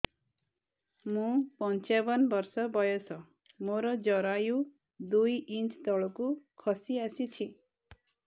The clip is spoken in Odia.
ମୁଁ ପଞ୍ଚାବନ ବର୍ଷ ବୟସ ମୋର ଜରାୟୁ ଦୁଇ ଇଞ୍ଚ ତଳକୁ ଖସି ଆସିଛି